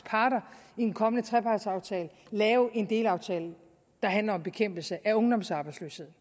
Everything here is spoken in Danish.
parter i en kommende trepartsaftale lave en delaftale der handler om bekæmpelse af ungdomsarbejdsløshed